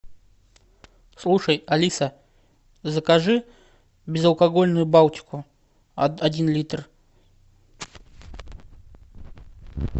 слушай алиса закажи безалкогольную балтику один литр